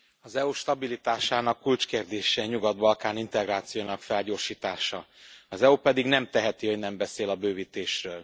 Az EU stabilitásának kulcskérdése a Nyugat Balkán integrációjának felgyorsítása, az EU pedig nem teheti, hogy nem beszél a bővítésről.